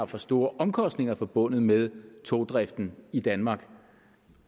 for store omkostninger forbundet med togdriften i danmark